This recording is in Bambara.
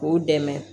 K'u dɛmɛ